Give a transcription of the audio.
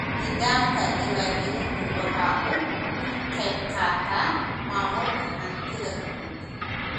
Nidaamka diwaangelintu waxa uu ka qayb qaataa maamulka hantida guud.